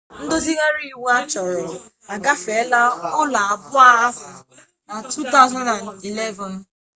ndozigharị iwu achọrọ agafeela ụlọ abụọ ahụ na 2011